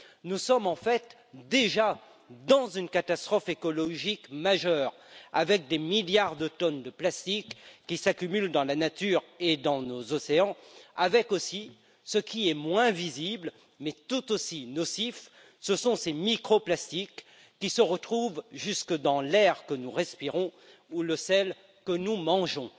Nous sommes en fait déjà dans une catastrophe écologique majeure, avec des milliards de tonnes de plastique qui s'accumulent dans la nature et dans nos océans et, ce qui est moins visible mais tout aussi nocif, ces microplastiques qui se retrouvent jusque dans l'air que nous respirons ou dans le sel que nous mangeons.